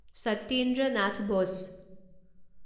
Satyendra Nath Bose